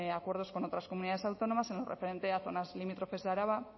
acuerdos con otras comunidades autónomas en lo referente a zonas limítrofes de araba